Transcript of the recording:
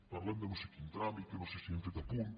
parlem de no sé quin tràmit que no sé si hem fet a punt